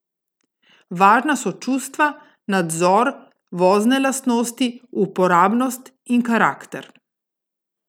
Važna so čustva, nadzor, vozne lastnosti, uporabnost in karakter.